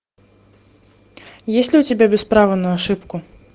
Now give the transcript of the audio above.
есть ли у тебя без права на ошибку